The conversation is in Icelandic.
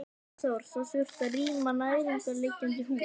Hafþór: Það þurfti að rýma nærliggjandi hús?